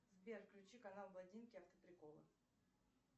сбер включи канал блондинки автоприколы